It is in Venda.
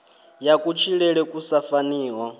ya kutshilele ku sa faniho